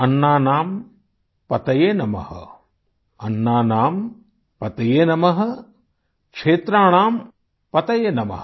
अन्नानां पतये नमः क्षेत्राणाम पतये नमः